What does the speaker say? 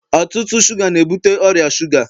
ọtụtụ shuga na-ebute ọrịa shuga